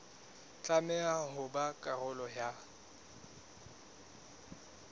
tlameha ho ba karolo ya